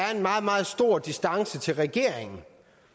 er en meget meget stor distance til regeringen